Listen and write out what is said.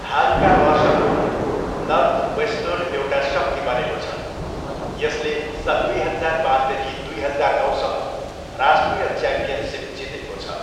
हालका वर्षहरूमा, नर्थवेस्टर्न एउटा शक्ति बनेको छ, यसले सन् दुई हजार पाँचदेखि दुई हजार नौसम्म राष्ट्रिय च्याम्पियनसिप जितेको छ।